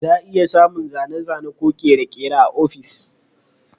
Za a iya samun zane-zane ko kere-kere a ofis.